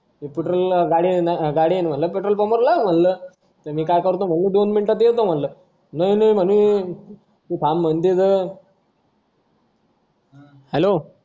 हि scooter गाडीये म्हंटल petrol पंपावर लाव म्हंटल मी दोन मिनटात येतो म्हंटल नाई नाई म्हणं तू थांब तिथं hello